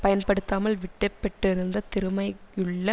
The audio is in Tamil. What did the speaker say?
பயன்படுத்தாமல் விட்டப்பெட்டிருந்த திறமையுள்ள